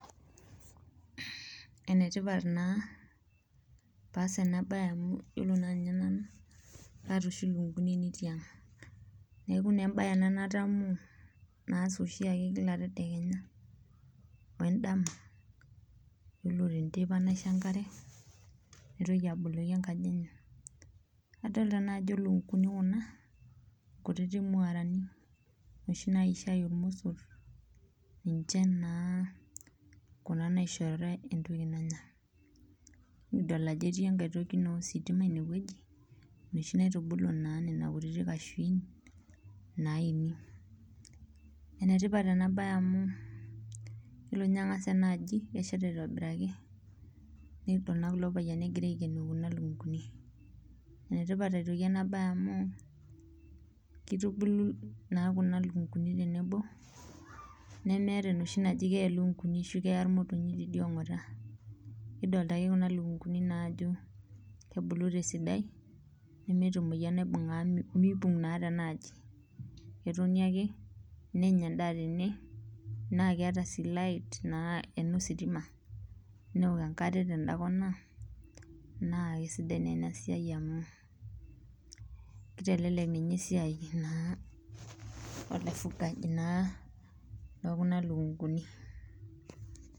Enetipat naa pee aas ena bae amu yiolo naa ninye nanu kaata oshi lukunkuni tiang neeku naa embae ena natamoo naas oshiake Kila tedekenya wendama yiolo teneteipa naisho enkare naitoki aboloki enkaji enye, nadolita naa ajo lukunkuni kuna nkuti mwaarani noshi naisho aiyu iromosor ninche naaa Kuna nishoritae entoki nanya. nikidol ajo etii naa entoki ositima ineweji ,enoshi naa naitubulu nina kashuin naini, enetipat ena bae amu yiolo ninye angas ena aji kesheta aitobiraki nikidol naa kulo payiani egira aikenoo kuna lukunkuni ,enetipata aitoki ena bae amu keitubulu Kuna lukunkuni tenebo nemeeta enoshi najo keya irmotonyik tidialo ongota. kidolita naake kuna lukunkuni ajo kebulu tesidai nemeeta emoyian naibung amu meipung naa tenaaji. ketoni ake nenya endaa tene naa keeta sii light amu inositima neok enkare tenda kona naa keisidai naa ena siai amu kitelelek esiai olaifungani naa lookuna lukunkuni.